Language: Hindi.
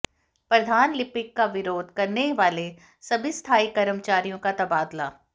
प्रधान लिपिक का विरोध करने वाले सभी स्थायी कर्मचारियों का तबादला